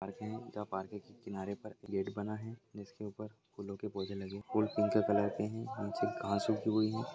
Park है जहाँ park के किनारे पर गेट बना है जिसके ऊपर फूलों के पौधे लगे हुए हैं फूल पिंक कलर के हैं नीचे घास उगी हुई है।